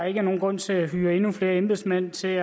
ikke er nogen grund til at hyre endnu flere embedsmænd til